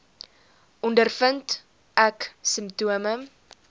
ondervind ek simptome